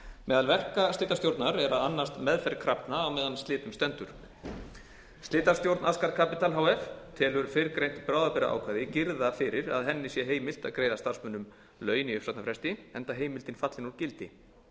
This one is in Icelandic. meðal verka slitastjórnar er að annast meðferð krafna meðan á slitum stendur slitastjórn askar capital h f telur fyrrgreint bráðabirgðaákvæði girða fyrir að henni sé heimilt að greiða starfsmönnum laun í uppsagnarfresti enda heimildin fallin úr gildi